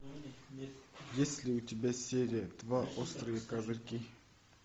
есть ли у тебя серия два острые козырьки